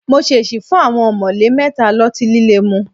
Mo ṣèṣì fún àwọn ọ̀mọ̀lé mẹ́ta lọ́tí líle mu